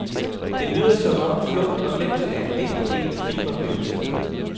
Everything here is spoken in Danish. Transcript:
Det lyder som om flugt og glemsel er en vigtig del af filmoplevelsen.